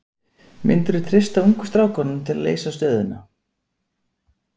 Myndirðu treysta ungu strákunum til að leysa stöðuna?